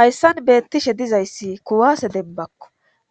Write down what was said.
Hayssan beetishe dizayssi kuwasse dembbakko